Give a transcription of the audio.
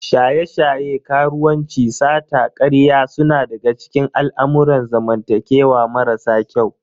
Shaye-shaye, karuwanci, sata, karya suna daga cikin al'amurran zamantakewa marasa kyau.